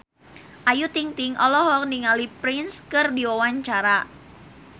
Ayu Ting-ting olohok ningali Prince keur diwawancara